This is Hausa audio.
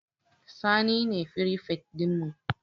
Sani ne firifet ɗinmu